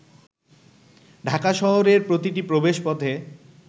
ঢাকা শহরের প্রতিটি প্রবেশপথে